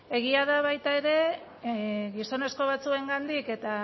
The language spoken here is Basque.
egia da baita ere gizonezko batzuengatik eta